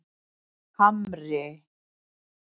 Hamri